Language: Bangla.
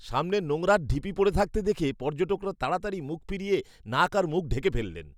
সামনে নোংরার ঢিবি পড়ে থাকতে দেখে পর্যটকরা তাড়াতাড়ি মুখ ফিরিয়ে নাক আর মুখ ঢেকে ফেললেন।